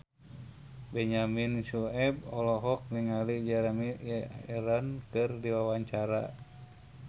Benyamin Sueb olohok ningali Jeremy Irons keur diwawancara